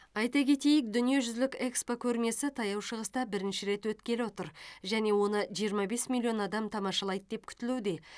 айта кетейік дүниежүзілік экспо көрмесі таяу шығыста бірінші рет өткелі отыр және оны жиырма бес миллион адам тамашалайды деп күтілуде